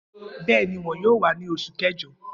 Bẹẹni, wọn yoo wa ni Oṣu Kẹjọ.